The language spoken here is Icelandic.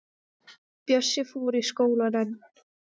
Bjössi fór í skólann en